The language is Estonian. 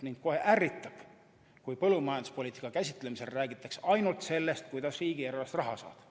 Mind kohe ärritab, kui põllumajanduspoliitika käsitlemisel räägitakse ainult sellest, kuidas riigieelarvest raha saada.